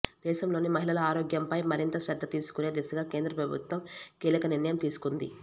దేశంలోని మహిళల ఆరోగ్యంపై మరింత శ్రద్ధ తీసుకునే దిశగా కేంద్ర ప్రభుత్వం కీలక నిర్ణయం తీసుకుంది